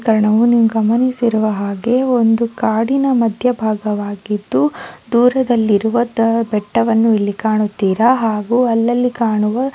ಗಮನಿಸಿರುವ ಹಾಗೆ ಒಂದು ಕಾಡಿನ ಮಧ್ಯ ಭಾಗವಾಗಿದ್ದು ದೂರದಲ್ಲಿರುವ ದ ಬೆಟ್ಟವನ್ನು ಇಲ್ಲಿ ಕಾಣುತೀರಾ ಹಾಗು ಅಲ್ಲಲ್ಲಿ ಕಾಣುವ --